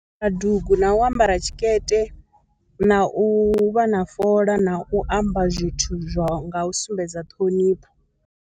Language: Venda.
Kha dugu na u ambara tshikete na u vha na fola na u amba zwithu zwo, ngau sumbedza ṱhonifho.